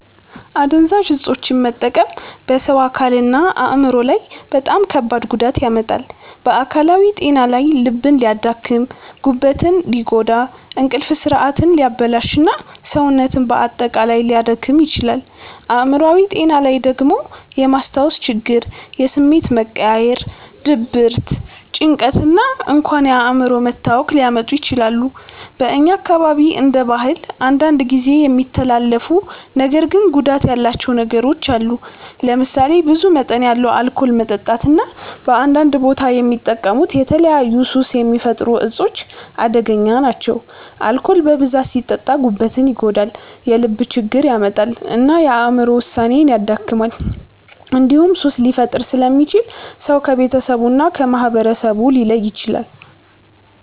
አደንዛዥ እፆችን መጠቀም በሰው አካልና አእምሮ ላይ በጣም ከባድ ጉዳት ያመጣል። በአካላዊ ጤና ላይ ልብን ሊያደክም፣ ጉበትን ሊጎዳ፣ እንቅልፍ ስርዓትን ሊያበላሽ እና ሰውነትን በአጠቃላይ ሊያዳክም ይችላል። አእምሮአዊ ጤና ላይ ደግሞ የማስታወስ ችግር፣ የስሜት መቀያየር፣ ድብርት፣ ጭንቀት እና እንኳን የአእምሮ መታወክ ሊያመጡ ይችላሉ። በእኛ አካባቢ እንደ ባህል አንዳንድ ጊዜ የሚተላለፉ ነገር ግን ጉዳት ያላቸው ነገሮች አሉ። ለምሳሌ ብዙ መጠን ያለው አልኮል መጠጣት እና በአንዳንድ ቦታ የሚጠቀሙት የተለያዩ ሱስ የሚፈጥሩ እፆች አደገኛ ናቸው። አልኮል በብዛት ሲጠጣ ጉበትን ይጎዳል፣ የልብ ችግር ያመጣል እና የአእምሮ ውሳኔን ያደክማል። እንዲሁም ሱስ ሊፈጥር ስለሚችል ሰው ከቤተሰቡ እና ከማህበረሰቡ ሊለይ ይችላል።